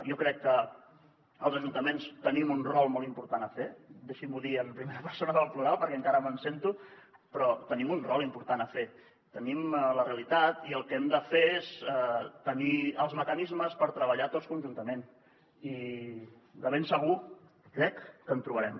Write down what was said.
jo crec que els ajuntaments tenim un rol molt important a fer deixi m’ho dir en primera persona del plural perquè encara me’n sento però tenim un rol important a fer tenim la realitat i el que hem de fer és tenir els mecanismes per treballar tots conjuntament i de ben segur crec que en trobarem